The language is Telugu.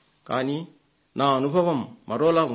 కానీ నా అనుభవం మరోలా ఉంది